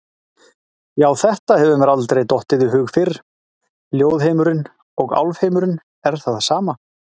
Já, þetta hefur mér aldrei dottið í hug fyrr, ljóðheimurinn og álfheimurinn er það sama!